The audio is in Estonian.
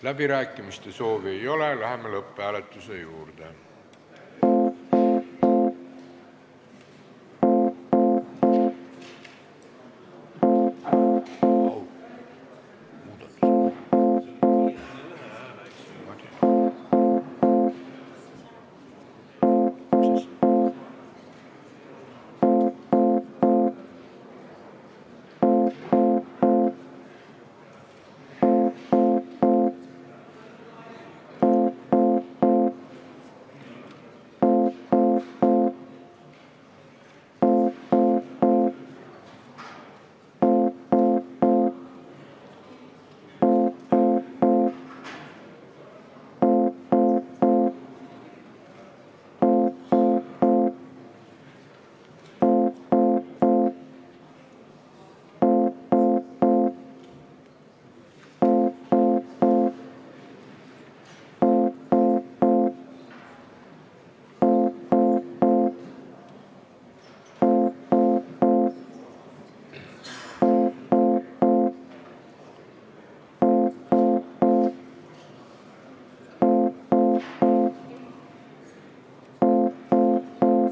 Läbirääkimiste soovi ei ole, läheme lõpphääletuse juurde.